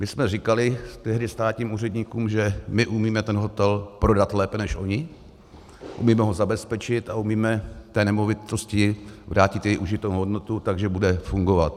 My jsme říkali tehdy státním úředníkům, že my umíme ten hotel prodat lépe než oni, umíme ho zabezpečit a umíme té nemovitosti vrátit její užitnou hodnotu, takže bude fungovat.